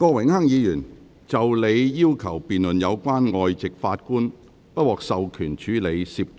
郭榮鏗議員，就你要求辯論有關外籍法官不獲授權處理涉及